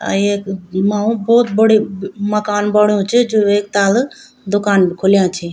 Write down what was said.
अ येक अ-अ मा ओ भोत बड़ु म-मकान बा बण्यु च जू एक ताल दूकान भी खुल्यां छी।